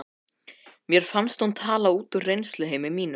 Mér fannst hún tala út úr reynsluheimi mínum.